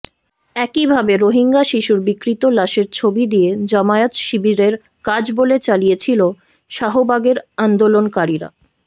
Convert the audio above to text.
একই ভাবে রোহিঙ্গা শিশুর বিকৃত লাশের ছবি দিয়ে জামায়াত শিবিরের কাজ বলে চালিয়েছিল শাহবাগের আন্দোলনকারীরা